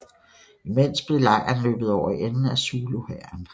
Imens blev lejren løbet over ende af zuluhæren